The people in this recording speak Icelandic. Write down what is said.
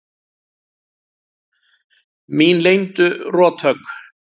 Mín leyndu rothögg.